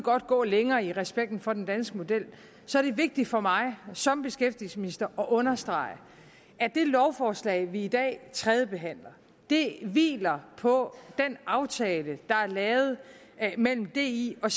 gå længere i respekten for den danske model så er det vigtigt for mig som beskæftigelsesminister at understrege at det lovforslag vi i dag tredjebehandler hviler på den aftale der er lavet mellem di og